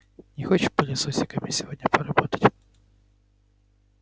не хочешь пылесосиками сегодня поработать